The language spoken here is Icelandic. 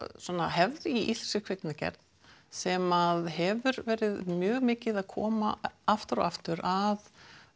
hefð í íslenskri kvikmyndagerð sem hefur verið mjög mikið að koma aftur og aftur að